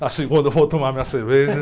Na segunda eu vou tomar minha cerveja.